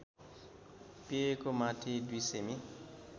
पेयको माथि २ सेमि